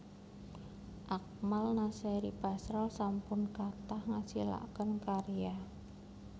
Akmal Nasery Basral sampun kathah ngasilaken karya